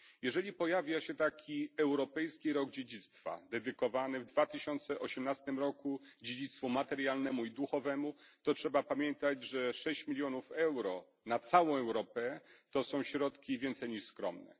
Jeżeli pojawia się taki Europejski Rok Dziedzictwa dedykowany w 2018 roku dziedzictwu materialnemu i duchowemu, to trzeba pamiętać, że 6 mln euro na całą Europę to są środki więcej niż skromnie.